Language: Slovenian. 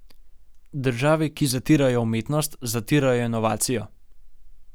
Države, ki zatirajo umetnost, zatirajo inovacijo.